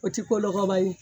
O tɛ ko lɔgɔba ye